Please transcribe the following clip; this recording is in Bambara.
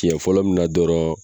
Tiɲɛ fɔlɔ mina dɔrɔn